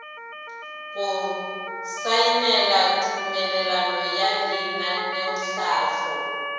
go saenela tumelelano ya lenaneotlhahlo